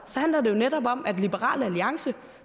handler det jo netop om at liberal alliance